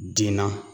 Den na